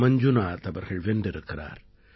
மஞ்சுநாத் அவர்கள் வென்றிருக்கிறார்